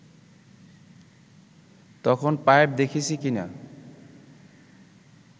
তখন পাইপ দেখেছি কি না